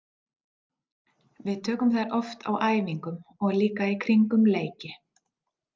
Við tökum þær oft á æfingum og líka í kringum leiki.